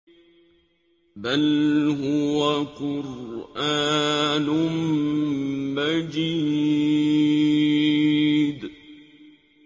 بَلْ هُوَ قُرْآنٌ مَّجِيدٌ